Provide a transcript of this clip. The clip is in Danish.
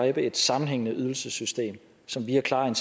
et nyt sammenhængende ydelsessystem som via klare